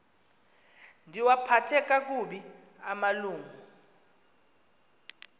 ndiwaphathe kakubi amalungu